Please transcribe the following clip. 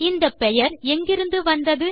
இந்த பெயர் எங்கிருந்து வந்தது